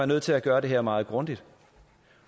nødt til at gøre det her meget grundigt